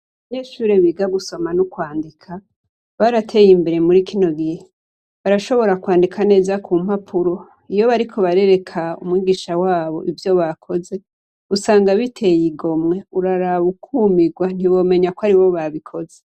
Abanyeshure biga gusoma no kwandika barateye imbere muri kino gihe barashobora kwandika neza kumpapuro iyo bariko barereka umwigisha wabo ivyo bakoze usanga biteye igomwe uraraba ukumigwa ntiwomenyako aribo babikoze.